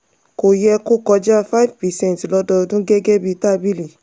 kò yẹ kó kọjá 5 percent lododun gẹ́gẹ́ bí tábìlì.